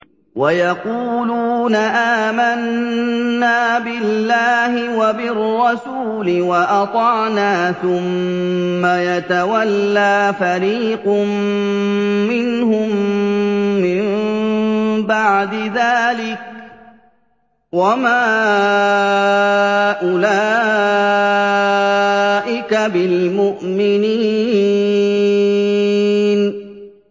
وَيَقُولُونَ آمَنَّا بِاللَّهِ وَبِالرَّسُولِ وَأَطَعْنَا ثُمَّ يَتَوَلَّىٰ فَرِيقٌ مِّنْهُم مِّن بَعْدِ ذَٰلِكَ ۚ وَمَا أُولَٰئِكَ بِالْمُؤْمِنِينَ